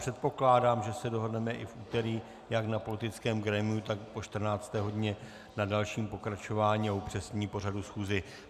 Předpokládám, že se dohodneme i v úterý jak na politickém grémiu, tak po 14. hodině na dalším pokračování a upřesnění pořadu schůze.